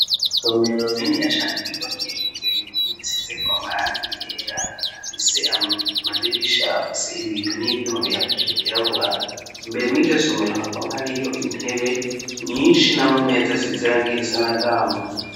Isomero niniya cane, ryubakishije inkuno zisize ko amarangi yera, hafise amadirisha afise ibiyo n'ibyo nobiyafashe kirabura imbere miryo somero hakaba hari yo intebe myinshi n'amameza zisize irange isa n'agahama.